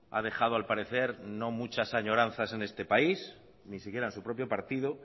ha dejado al parecer no muchas añoranzas en este país ni siquiera en su propio partido